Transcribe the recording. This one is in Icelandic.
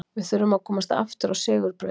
Við þurfum að komast aftur á sigurbraut